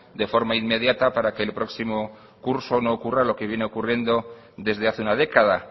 de forma inmediata para que el próximo curso no ocurra lo que viene ocurriendo desde hace una década